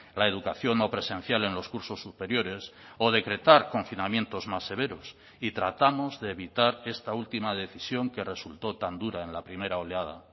la educación no presencial en los cursos superiores o decretar confinamientos más severos y tratamos de evitar esta última decisión que resultó tan dura en la primera oleada